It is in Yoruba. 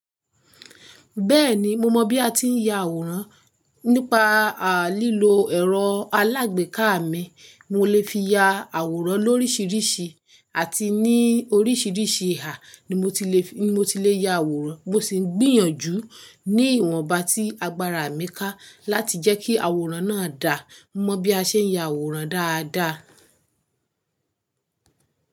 Bẹ́ẹ̀ni, mo mọ bí a ti ń ya àwòrán. Nípa à lílo ẹ̀rọ alágbèéká mi, mo lè fi ya àwòrán lóríṣiríṣi àti ní oríṣiríṣi ìhà ni mo ti lè, ni mo ti lè ya àwòrán. Mo sì ń gbìyànjú ní ìwọ̀nba ti agbára mi ká láti jẹ́ kí àwòrán náà dà. Mọ bí a ṣe ń ya àwòrán dáadáa.